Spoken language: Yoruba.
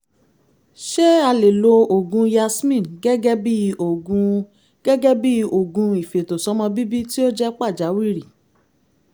ṣé a lè lo oògùn yasmin gẹ́gẹ́ bí oògùn gẹ́gẹ́ bí oògùn ìfètòsọ́mọ́bíbí tí ó jẹ́ pàjáwìrì?